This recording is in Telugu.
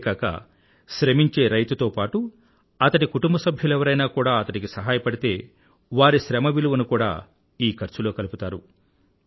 ఇంతేకాక శ్రమించే రైతుతో పాటూ అతడి కుటుంబ సభ్యులెవరైనా కూడా అతడికి సహాయపడితే వారి శ్రమ విలువను కూడా ఈ ఖర్చులో కలుపుతారు